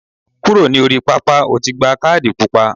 Kúrò ní orí pápá, o ti gba kádì pupa.